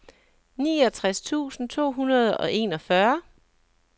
niogtres tusind to hundrede og enogfyrre